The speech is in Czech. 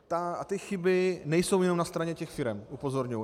A ty chyby nejsou jenom na straně těch firem, upozorňuji.